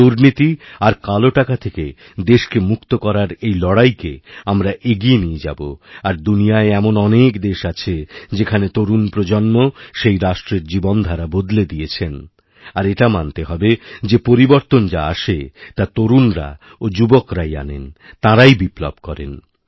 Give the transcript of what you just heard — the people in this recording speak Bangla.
দুর্নীতি আর কালোটাকা থেকে দেশকে মুক্ত করার এই লড়াইকে আমরা এগিয়ে নিয়ে যাব আর দুনিয়ায় এমন অনেকদেশ আছে যেখানে তরুণ প্রজন্ম সেই রাষ্ট্রের জীবনধারা বদলে দিয়েছেন আর এটা মানতেহবে যে পরিবর্তন যা আসে তা তরুণরা ও যুবকরাই আনেন তাঁরাই বিপ্লব করেন